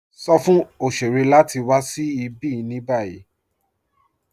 Sọ̀ fún oṣèrè láti wà sí ibi ní báyì.